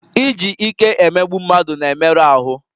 Iji ike emegbu mmadụ na-emerụ ahụ